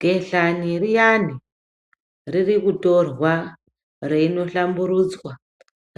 Behlani riyani riri kutorwa, reinohlamburudza